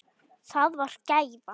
Það var þeirra gæfa.